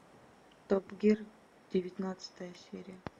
топ гир девятнадцатая серия